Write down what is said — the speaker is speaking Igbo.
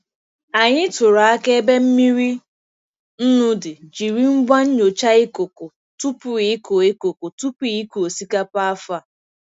Anyị tụrụ akara ebe mmiri nnu dị jiri ngwa nnyocha ikuku tupu ịkụ ikuku tupu ịkụ osikapa afọ a.